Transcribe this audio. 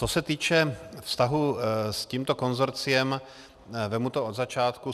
Co se týče vztahu s tímto konsorciem, vezmu to od začátku.